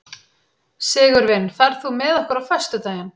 Sigurvin, ferð þú með okkur á föstudaginn?